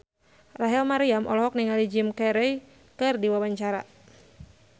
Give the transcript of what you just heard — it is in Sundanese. Rachel Maryam olohok ningali Jim Carey keur diwawancara